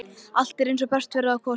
Allt er eins og best verður á kosið.